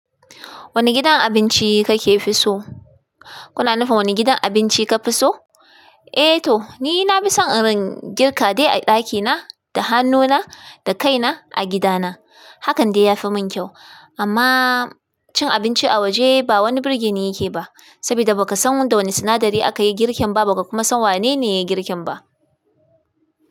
Wani gidan abinci kake fi so? Kuna nufin wani gidan abinci ka fi so? Eh to, ni na fi son irin girka dai a ɗakina, da hannuna, da kaina a gidana. Hakan dai yafi mun kyau. Amma cin abinci a waje ba wani birge ni yake ba. Sabida baka san da wani sinadari aka yi girken ba, baka kuma san wanene ya girken ba.